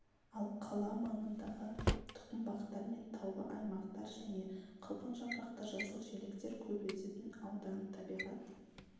ал қала маңындағы тұқымбақтар мен таулы аймақтар және қылқан жапырақты жасыл желектер көп өсетін аудан табиғат